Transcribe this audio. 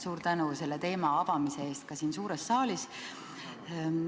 Suur tänu selle teema avamise eest ka siin suures saalis.